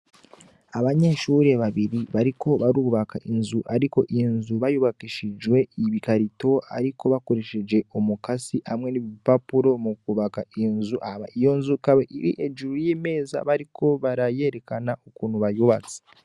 Abanyeshure babiri bariko barubaka inzu ariko, inzu bayubakishije ibikarito ariko bakoresheje umukasi hamwe n'ibipapuro mu kwubaka inzu. Iyo nzu ikaba iri hejuru y'imeza, bariko bayerekana ukuntu bayubatse.